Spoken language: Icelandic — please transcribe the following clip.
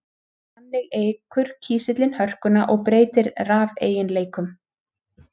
Þannig eykur kísillinn hörkuna og breytir rafeiginleikum.